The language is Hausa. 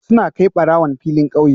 Suna kai barawon filin kauye